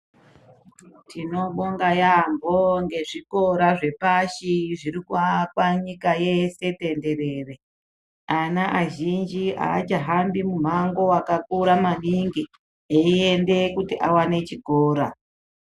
Tinobonga yaambo ngezvikora zvepashi zviri kuakwa nyika yese tenderere. Ana azhinji haachahambi mumhango wakakura maningi eiende kuti awane chikora.